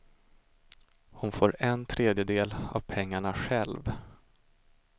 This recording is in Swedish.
Hon får en tredjedel av pengarna själv.